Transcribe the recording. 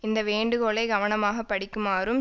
இந்த வேண்டுகோளை கவனமாக படிக்குமாறும்